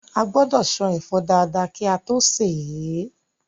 A gbọ́dọ̀ ṣan ẹ̀fọ́ dáadáa kí a tó sè é